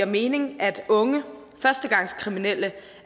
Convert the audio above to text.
mening at unge førstegangskriminelle